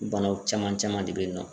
O banaw caman caman de bɛ yen nɔ .